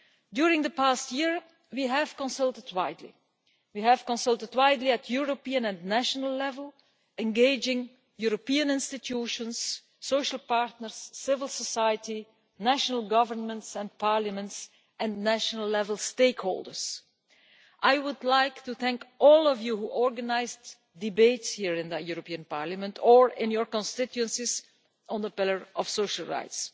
During the past year, we have consulted widely at European and national level, engaging European institutions, social partners, civil society, national governments and parliaments and national-level stakeholders. I would like to thank all of you who organised debates here in the European Parliament or in your constituencies on the Pillar of Social Rights.